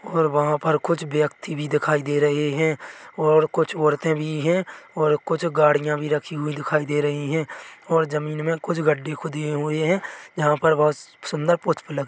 --और वहा पर कुछ व्यक्ति भी दिखाई दे रहे है और कुछ औरते भी है और कुछ गाड़िया भी रखी हुई दिखाई दे रही है और जमीन में कुछ गड्ढे खुदे हुए है जहाँ पर बहुत सुन्दर पुष्प लग--